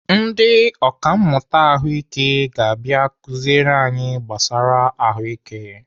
Ndị ọkàmmụta Ahụike ga-abịa akụziri anyị gbasara ahụike.